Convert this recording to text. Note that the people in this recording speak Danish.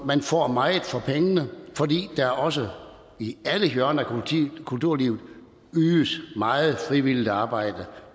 man får meget for pengene fordi der også i alle hjørner af kulturlivet ydes meget frivilligt arbejde